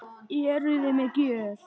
Eruði með gjöf?